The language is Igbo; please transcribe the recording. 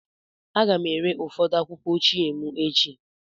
Aga m ere ụfọdụ akwụkwọ ochie m echi.